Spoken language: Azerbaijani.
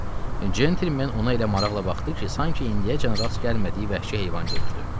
Centlmen ona elə maraqla baxdı ki, sanki indiyəcən rast gəlmədiyi vəhşi heyvan görürdü.